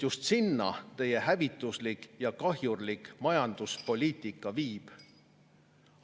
Just sinna teie hävituslik ja kahjurlik majanduspoliitika viib.